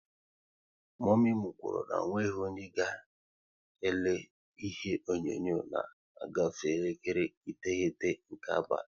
Momi kwuru na onweghi onye ga elele ihe onyonyo na ọ gafe elekere iteghete nke abalị